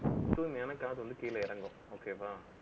so எனக்கு காசு வந்து, கீழே இறங்கும். okay வா